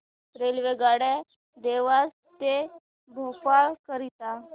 रेल्वेगाड्या देवास ते भोपाळ करीता